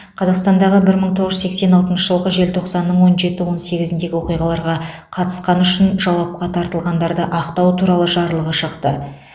қазақстандағы бір мың тоғыз жүз сексен алтыншы жылғы желтоқсанның он жеті он сегізіндегі оқиғаларға қатысқаны үшін жауапқа тартылғандарды ақтау туралы жарлығы шықты